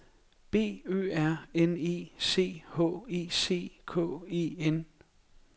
B Ø R N E C H E C K E N